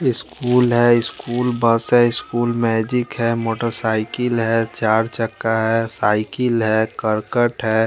School है school bus है school magic है मोटरसाइकिल है चार चक्का है साइकिल है करकट है।